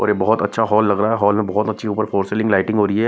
और ये बहोत अच्छा हॉल लग रहा है हॉल में बहोत अच्छी ऊपर फोर सीलिंग लाइटिंग हो रही है।